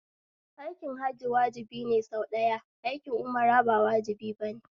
Aikin Hajji wajibi ne sau ɗaya, aikin umra ba wajibi bane